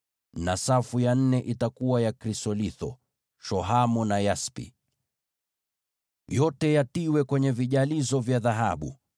na safu ya nne itakuwa na krisolitho, shohamu na yaspi. Yote yatiwe kwenye vijalizo vya dhahabu.